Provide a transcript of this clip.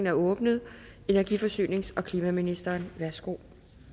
er åbnet energi forsynings og klimaministeren værsgo